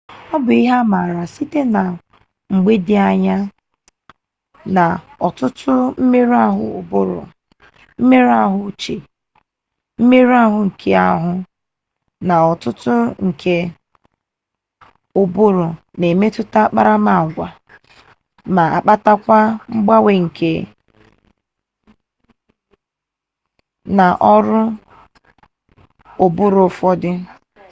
obu ihe ama-ama site na mgbe di anya na otutu mmeru-ahu uburu mmeru-ahu uche mmeru-ahu nke ahu na otuto nke uburu n’emututa akparama-agwa ma kpatakwa mgbanwe na oru oburu ufodu